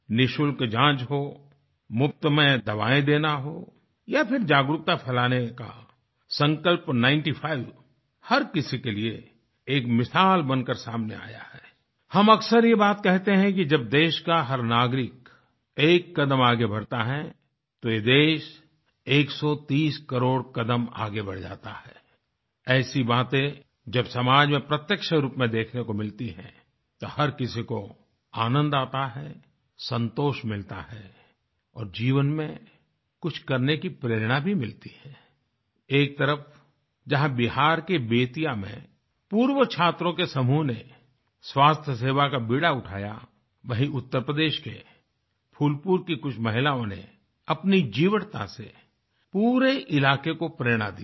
निशुल्क जाँच हो मुफ्त में दवायें देना हो या फिर जागरूकता फ़ैलाने का संकल्प नाइनटी फाइव हर किसी के लिए एक मिसाल बनकर सामने आया है आई हम अक्सर ये बात कहते हैं कि जब देश का हर नागरिक एक कदम आगे बढ़ता है तो ये देश 130 करोड़ कदम आगे बढ़ जाता है आई ऐसी बातें जब समाज में प्रत्यक्ष रूप में देखने को मिलती हैं तो हर किसी को आनंद आता है संतोष मिलता है और जीवन में कुछ करने की प्ररेणा भी मिलती है आई एक तरफ जहाँ बिहार के बेतिया मेंपूर्वछात्रों के समूह नेस्वास्थ्यसेवा का बीड़ा उठाया वहीं उत्तर प्रदेश के फूलपुर की कुछ महिलाओं ने अपनी जीवटता से पूरे इलाके को प्रेरणा दी है